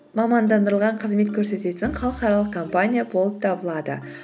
мамандандырылған қызмет көрсететін халықаралық компания болып табылады